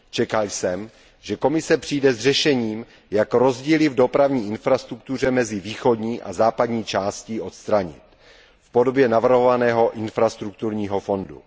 Čekal jsem, že Komise přijde s řešením, jak rozdíly v dopravní infrastruktuře mezi východní a západní částí odstranit v podobě navrhovaného infrastrukturního fondu.